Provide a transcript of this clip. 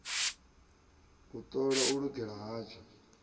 u ṱola u lugela hatsho